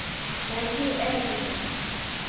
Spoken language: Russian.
найди эдисона